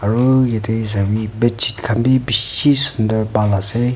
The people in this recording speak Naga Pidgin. aru yate sabi bedsheet khan bhi bishi sundar bhal ase.